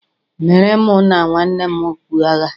meere mụ na nwanne m okpu agha